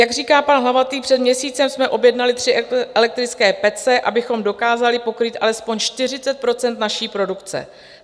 Jak říká pan Hlavatý, před měsícem jsme objednali tři elektrické pece, abychom dokázali pokrýt alespoň 40 % naší produkce.